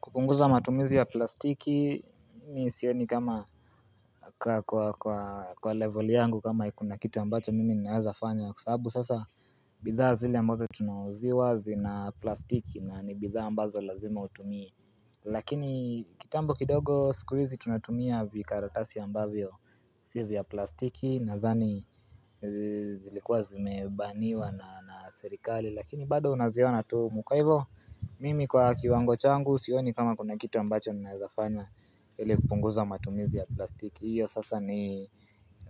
Kupunguza matumizi ya plastiki, mimi sioni kama kwa level yangu kama kuna kitu ambacho mimi ninawezafanya kwa sababu sasa bidhaa zile ambazo tunauziwa zina plastiki na ni bidhaa ambazo lazima utumie Lakini kitambo kidogo sikuizi tunatumia vikaratasi ambavyo si vya plastiki nadhani zilikuwa zimebaniwa na serikali Lakini bado naziona tu humu kwaivo mimi kwa kiwango changu sioni kama kuna kitu ambacho ninaezafana ili kupunguza matumizi ya plastiki. Hiyo sasa ni